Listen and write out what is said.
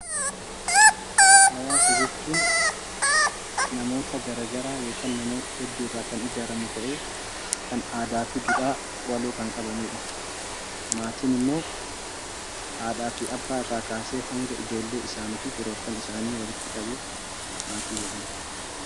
Hawaasa jechuun namoota gara garaa yokkaan namoota hedduurraa kan ijaarramu ta'ee kan aadaafi duudhaa waloo kan qabanidha. Maatinimmoo haadhaafi abbaa irraa kaasee hanga ijoollee isaaniifi firoottan isaanii walitti qabee maatii jedhama.